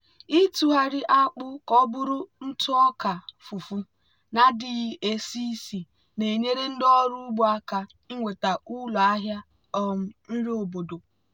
ịtụgharị akpụ ka ọ bụrụ ntụ ọka fufu na-adịghị esi ísì na-enyere ndị ọrụ ugbo aka inweta ụlọ ahịa um nri obodo.